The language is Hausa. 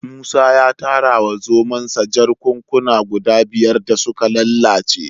Musa ya tara wa zomonsa jakunkuna guda biyar da suka lalace